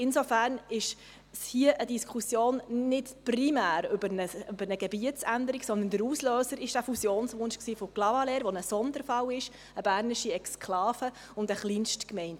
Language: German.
Insofern ist es hier nicht primär eine Diskussion über eine Gebietsänderung, sondern der Auslöser war der Fusionswunsch von Clavaleyres, das ein Sonderfall ist, eine bernische Exklave und eine Kleinstgemeinde.